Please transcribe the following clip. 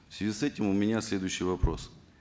в связи с этим у меня следующий вопрос